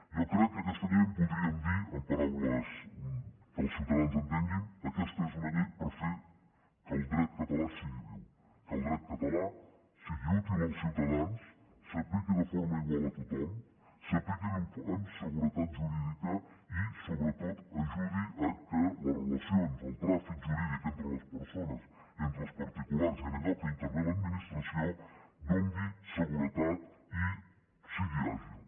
jo crec que aquesta llei en podríem dir amb paraules que els ciutadans entenguin que aquesta és una llei per fer que el dret català sigui viu que el dret català sigui útil als ciutadans s’apliqui de forma igual a tothom s’apliqui amb seguretat jurídica i sobretot ajudi que les relacions el tràfic jurídic entre les persones entre els particulars i en allò que intervé l’administració doni seguretat i sigui àgil